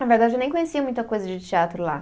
Na verdade, eu nem conhecia muita coisa de teatro lá.